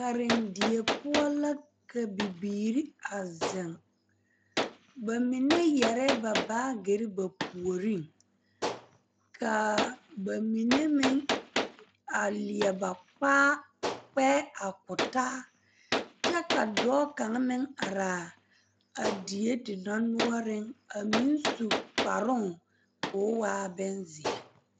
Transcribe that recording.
karendie poɔ la ka bibiiri a zeŋ, bamine yɛre ba baagere ba puoriŋ kaa bamine meŋ are leɛ ba pkeɛ a ko taa kyɛ ka dɔɔ kaŋ meŋ are a die dendɔrenoɔreŋ a meŋ su kparoŋ k'o waa benzeɛ